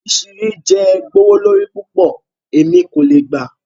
Ìṣu̩ yi jẹ́ gbòwó lọrí púpọ̀, ẹ̀mí kò le gbà.